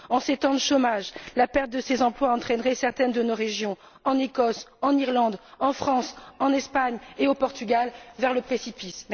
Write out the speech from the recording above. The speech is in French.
En ces temps de chômage, la perte de ces emplois entraînerait certaines de nos régions en Écosse, en Irlande, en France, en Espagne et au Portugal vers le précipice.